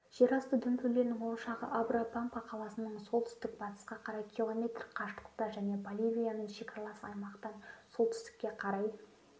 жерасты дүмпулерінің ошағы абра пампа қаласынан солтүстік-батысқа қарай км қашықтықта және боливиямен шекаралас аймақтан солтүстікке қарай